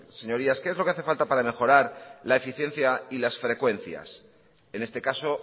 señorías qué es lo que hace falta para mejorar la eficiencia y las frecuencias en este caso